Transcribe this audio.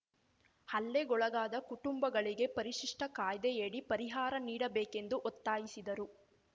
ಹಲ್ಲೆಗೊಳಗಾದ ಕುಟುಂಬಗಳಿಗೆ ಪರಿಶಿಷ್ಟಕಾಯ್ದೆಯಡಿ ಪರಿಹಾರ ನೀಡಬೇಕೆಂದು ಒತ್ತಾಯಿಸಿದರು